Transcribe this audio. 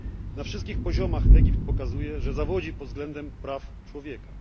Na wszystkich poziomach Egipt pokazuje, że zawodzi pod względem praw człowieka.